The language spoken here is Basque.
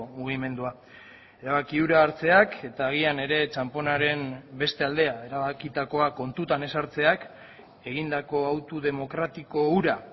mugimendua erabaki hura hartzeak eta agian ere txanponaren beste aldea erabakitakoa kontutan ez hartzeak egindako auto demokratiko hura